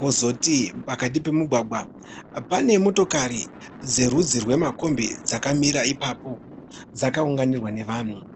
Kozoti pakati pemugwagwa pane motokari dzerudzi rwemakombi dzakamira ipapo ,dzakaunganirwa nevanhu.